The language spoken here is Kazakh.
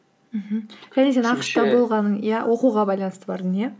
мхм болғаның иә оқуға байланысты бардың иә